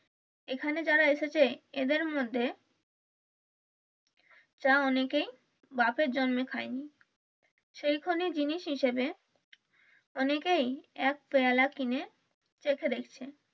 এখানে যারা এসেছে এদের মধ্যে চা অনেকেই বাপের জন্মে খাইনি সেই কনিক জিনিস হিসাবে অনেকেই এক পেয়ালা কিনে চেঁখে দেখছে।